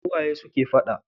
Su waye suke fada?